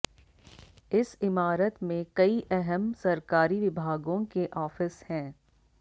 इस इमारत में कई अहम सरकारी विभागों के ऑफिस हैं